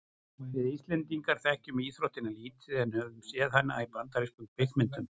við íslendingar þekkjum íþróttina lítið en höfum séð hana í bandarískum kvikmyndum